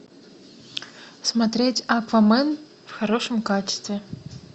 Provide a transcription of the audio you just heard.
смотреть аквамен в хорошем качестве